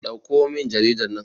dauko min jaridar nan!